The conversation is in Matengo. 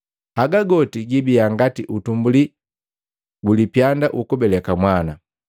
Haga goti gibiya ngati utumbuli gulipyanda ukubeleka mwana.”